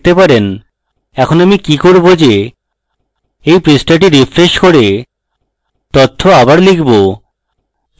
এখন আমি কি করব যে এই পৃষ্ঠাটি refresh করে তথ্য আবার লিখব